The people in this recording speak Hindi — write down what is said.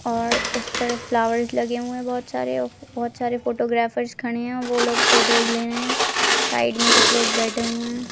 और इस पर फ्लावर्स लगे हुए है बहुत सारे और बहुत सारे फोटोग्राफर्स खड़े है वो लोग फोटोज ले रहे है साइड मे कुछ लोग बैठे हुए है।